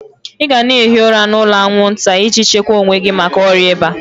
Ị gana ehi ụra n'ụlọ aṅwụnta iji chekwa owe gi maka ọrịa iba!